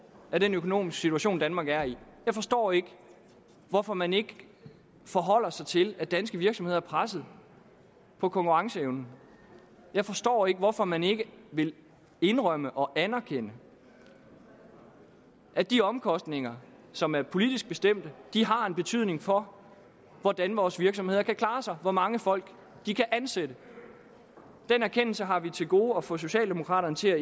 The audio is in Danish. i den økonomiske situation danmark er i jeg forstår ikke hvorfor man ikke forholder sig til at danske virksomheder er pressede på konkurrenceevnen jeg forstår ikke hvorfor man ikke vil indrømme og erkende at de omkostninger som er politisk bestemt har en betydning for hvordan vores virksomheder kan klare sig og hvor mange folk de kan ansætte den erkendelse har vi til gode at få socialdemokraterne til at